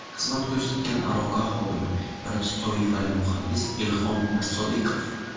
Xizmat ko‘rsatgan aloqa xodimi, birinchi toifali muhandis Ilhom Mirsodiqov.